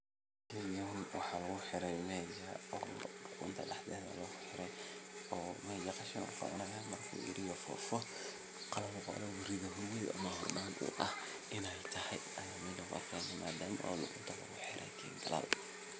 Tani waa marxalad muhiim ah oo lagu bilaabo hawsha wax-soo-saarka beeraleyda. Dhulka ayaa la nadiifinayaa, lagana saarayo cawska, qoryaha iyo dhirta kale ee carqaladeyn karta koritaanka dalagga cusub. Waxaa sidoo kale dhici karta in dhulka la qodayo ama la rogayo si loo jebiyo ciidda loogana dhigo mid jilicsan si ay biyuhu ugu dhex milmaan si habboon.